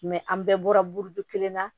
an bɛɛ bɔra burudon kelen na